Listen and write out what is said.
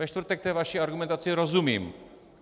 Ve čtvrtek té vaší argumentaci rozumím.